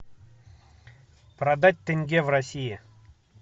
продать тенге в россии